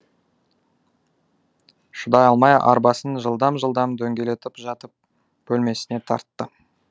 шыдай алмай арбасын жылдам жылдам дөңгелетіп жатып бөлмесіне тартты